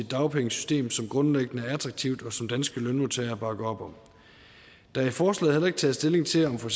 dagpengesystem som grundlæggende er attraktivt og som danske lønmodtagere bakker op om der er i forslaget heller ikke taget stilling til om for